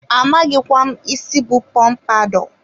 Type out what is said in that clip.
amaghịkwa m isi bụ pọmpadọ